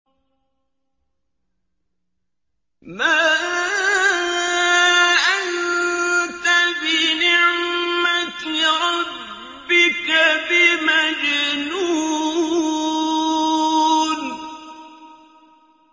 مَا أَنتَ بِنِعْمَةِ رَبِّكَ بِمَجْنُونٍ